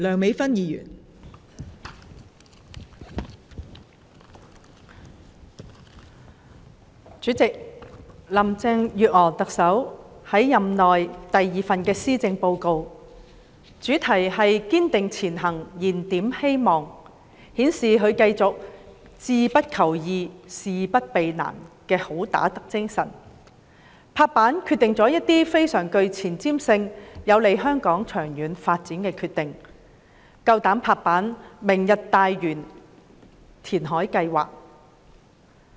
代理主席，特首林鄭月娥任內第二份施政報告，以"堅定前行燃點希望"為主題，繼續顯示她志不求易、事不避難的"好打得"精神，作出一些非常具前瞻性、有利香港長遠發展的決定，有勇氣"拍板"決定"明日大嶼"填海計劃。